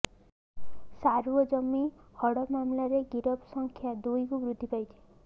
ସାରୁଅ ଜମି ହଡପ ମାମଲାରେ ଗିରଫ ସଂଖ୍ୟା ଦୁଇକୁ ବୃଦ୍ଧି ପାଇଛି